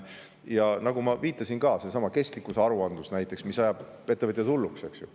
Ja nagu ma viitasin, seesama kestlikkusaruandlus, mis ajab ettevõtjad hulluks, eks ju.